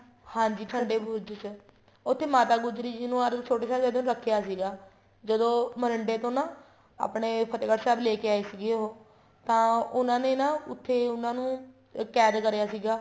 ਹਾਂਜੀ ਠੰਡੇ ਬੁਰਜ ਚ ਉੱਥੇ ਮਾਤਾ ਗੁਜਰੀ ਨੂੰ ਅਰ ਛੋਟੋ ਸਾਹਿਬਜ਼ਾਦੇ ਨੂੰ ਰੱਖਿਆ ਸਿਗਾ ਜਦੋਂ ਮੋਰਿੰਡੇ ਤੋ ਨਾ ਆਪਣੇ ਫਤਿਹਗੜ੍ਹ ਸਾਹਿਬ ਲੈਕੇ ਆਏ ਸੀਗੇ ਉਹ ਤਾਂ ਉਹਨਾ ਨੇ ਨਾ ਉੱਥੇ ਉਹਨਾ ਨੂੰ ਕੈਦ ਕਰਿਆ ਸੀਗਾ